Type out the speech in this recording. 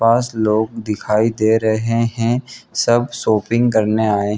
पांच लोग दिखाई दे रहे हैं सब शॉपिंग करने आए --